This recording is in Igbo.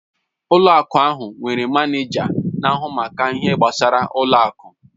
Ụlọ akụ ahụ nwere manịja na-ahụ maka ihe gbasara ụlọ akụ.